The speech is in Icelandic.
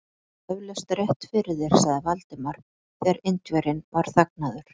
Þú hefur eflaust rétt fyrir þér sagði Valdimar, þegar Indverjinn var þagnaður.